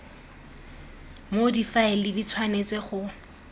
moo difaele di tshwanetseng go